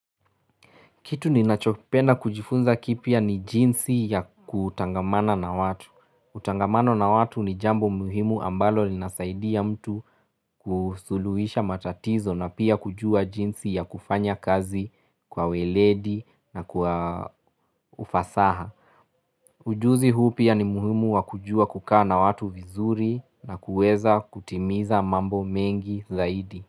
Kitu ninachopenda kujifunza kipya ni jinsi ya kutangamana na watu. Utangamana na watu ni jambo muhimu ambalo linasaidia mtu kusuluhisha matatizo na pia kujua jinsi ya kufanya kazi kwa ueledi na kwa ufasaha. Ujuzi huu pia ni muhimu wa kujua kukaa na watu vizuri na kueza kutimiza mambo mengi zaidi.